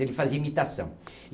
Ele fazia imitação.